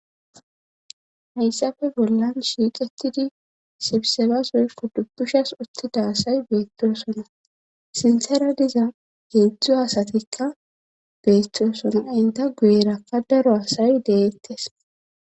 hayssafe bollan shiixetidi sibisebasoykko dubbushas uttida asay beettosona sinsera diza geedzdzo asatikka beettooson aynta guyerakka daro asay deyettes